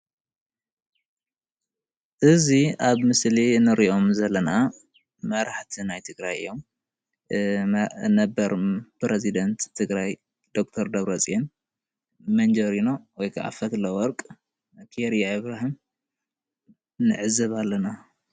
እዚ ኣብ ምስሊ እንሪኦም ዘለና መራሕቲ ናይ ትግራይ እዮም፡፡ ነበር ፕረዚዳንት ትግራይ ዶ/ር ደብረፅዮን፣ መንጀሪኖ ወይ ከዓ ፈትለወርቅ ፣ ኬርያ ኣብራሂም ንዕዘብ ዘኣለና፡፡